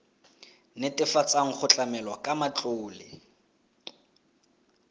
netefatsang go tlamelwa ka matlole